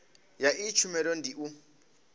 ya iyi tshumelo ndi u